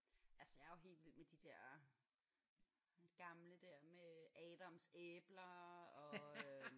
Altså jeg er jo helt vild med de der gamle der med Adams æbler og øh